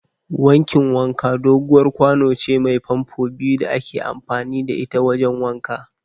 Wankin wanka doguwar kwano ce mai famfo biyu da ake amfani da ita wajen wanka.